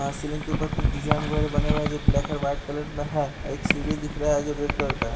यहां सीलिंग के ऊपर कुछ डिजाइन वगैरा बने हुए हैं जो ब्लैक एंड वाइट कलर में हैं अ एक सीढ़ी दिख रहा है जो रेड कलर का है।